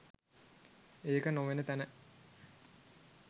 ඒක නොවන තැන